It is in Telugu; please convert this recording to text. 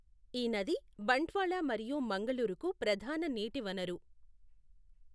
ఈ నది బంట్వాళ మరియు మంగళూరుకు ప్రధాన నీటి వనరు.